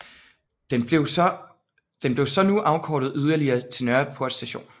Den blev så nu afkortet yderligere til Nørreport st